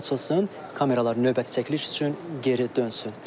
Yollar açılsın, kameralar növbəti çəkiliş üçün geri dönsün.